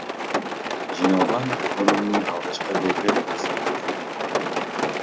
жиналған өнімнің алғашқы легі ресейге жөнелтілді